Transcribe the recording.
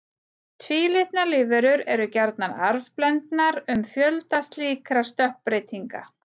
Tvílitna lífverur eru gjarnan arfblendnar um fjölda slíkra stökkbreytinga.